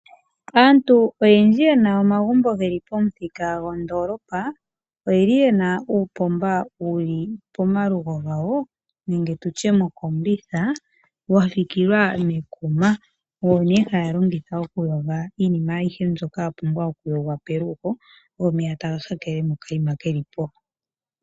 Aantu oyendji yena omagumbo geli pomuthika gondoolopa oyeli yena uupomba wuli pomalugo gawo nenge mokombitha wafikilwa mekuma owo nee haya longitha okuyoga iinima ayishe mbyoka yapumbwa okuyogwa pelugo omeya taga hakele mokaima kelipo.